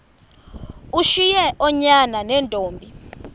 ushiye oonyana neentombi